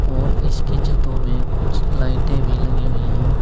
और इसकी छतों में कुछ लाइटें भी लगी हुई हैं।